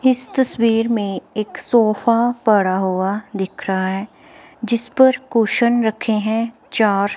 इस तस्वीर में एक सोफा पड़ा हुआ दिख रहा है जिस पर कुशन रखे हैं चार--